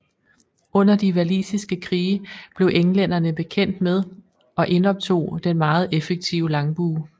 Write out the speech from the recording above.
Under de walisiske krige blev englænderne bekendt med og indoptog den meget effektive langbue